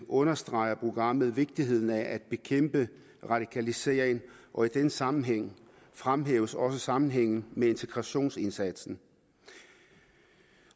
understreger programmet vigtigheden af at bekæmpe radikalisering og i den sammenhæng fremhæves også sammenhængen med integrationsindsatsen